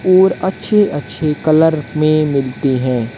और अच्छे अच्छे कलर में मिलती हैं।